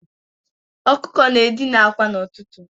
Ọkụkọ na-edina akwa n'ụtụtụ.